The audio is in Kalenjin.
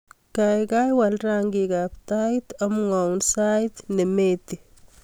Gaigai waal rangikab tait amwaun sait nemeti